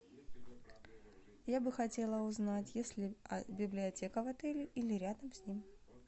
я бы хотела узнать есть ли библиотека в отеле или рядом с ним